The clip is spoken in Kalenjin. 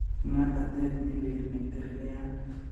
Ng'atateet ne leel ne kergei ak .